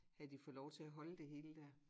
Havde de fået lov til at holde det hele dér